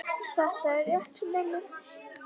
Þetta er rétt hjá mömmu.